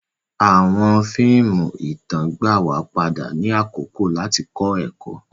Awọn fíìmù ìtàn gbà wa padà ni àkókò lati kọ ẹkọ.